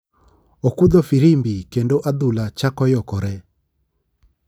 Okudho firimbi kendo adhula chako yokore.